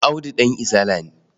Audu ɗan Izala ne.